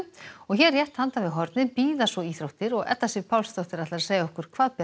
hér rétt handan við hornið bíða svo íþróttir og Edda Sif Pálsdóttir ætlar að segja okkur hvað ber